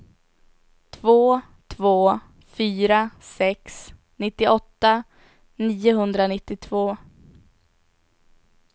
två två fyra sex nittioåtta niohundranittiotvå